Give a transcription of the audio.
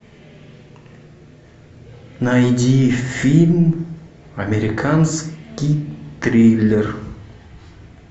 найди фильм американский триллер